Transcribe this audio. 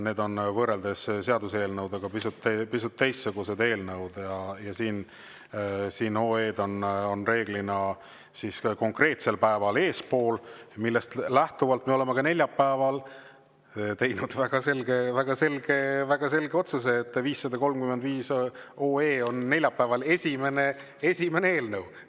Need on võrreldes seaduseelnõudega pisut teistsugused eelnõud ja siin OE-d on enamasti konkreetsel päeval eespool, millest lähtuvalt me oleme ka neljapäeval teinud väga selge otsuse, et 535 OE on neljapäeval esimene eelnõu.